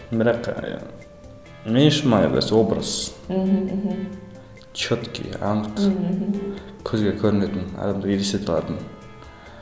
бірақ ыыы мен үшін маңыздысы образ мхм мхм четкий анық мхм көзге көрінетін адамдар елестете алатын